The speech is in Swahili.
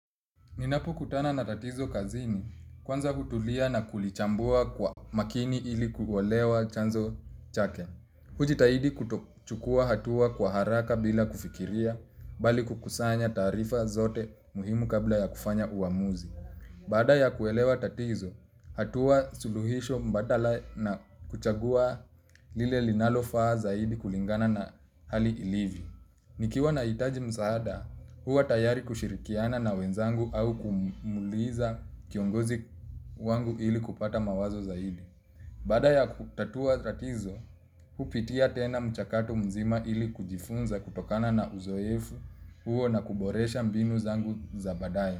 Ninapokutana na tatizo kazini, kwanza hutulia na kulichambua kwa makini ili kuelewa chanzo chake. Hujitahidi kutokuchukua hatua kwa haraka bila kufikiria, bali kukusanya taarifa zote muhimu kabla ya kufanya uamuzi. Baada ya kuelewa tatizo, hatua suluhisho mbadala na kuchagua lile linalofaa zaidi kulingana na hali ilivyo. Nikiwa nahitaji wa msaada, huwa tayari kushirikiana na wenzangu au kumuuliza kiongozi wangu ili kupata mawazo zaidi. Baada ya kutatua tatizo, hupitia tena mchakato mzima ili kujifunza kutokana na uzoefu huo na kuboresha mbinu zangu za baadaye.